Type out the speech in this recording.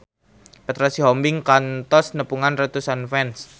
Petra Sihombing kantos nepungan ratusan fans